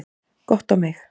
Gott á mig.